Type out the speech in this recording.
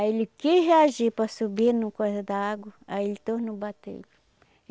Aí ele quis reagir para subir no coisa da água, aí ele tornou batê-lo.